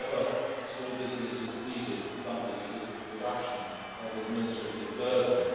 If ever small businesses needed something, it is the reduction of administrative burdens.